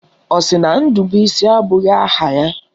Ọ sị na Ndubuisi abụghị aha ya?